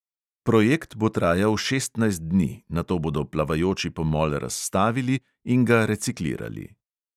Projekt bo trajal šestnajst dni, nato bodo plavajoči pomol razstavili in ga reciklirali.